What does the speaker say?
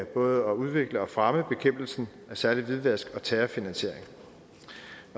både at udvikle og fremme bekæmpelsen af særlig hvidvask og terrorfinansiering